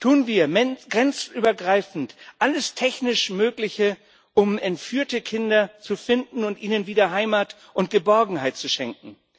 Tun wir grenzübergreifend alles technisch Mögliche, um entführte Kinder zu finden und ihnen wieder Heimat und Geborgenheit zu schenken.